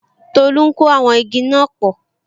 Tolu ń kó àwọn igi náà pò